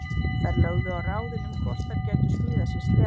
Þær lögðu á ráðin um hvort þær gætu smíðað sér sleða.